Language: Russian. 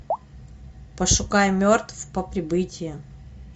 пошукай мертв по прибытии